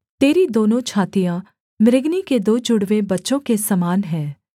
तेरी दोनों छातियाँ मृगनी के दो जुड़वे बच्चों के समान हैं